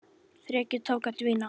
Þrekið tók að dvína.